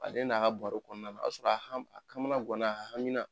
Ale n'a ka baro kɔnɔna na o y'a sɔrɔ a ha a kamana ŋana a haminan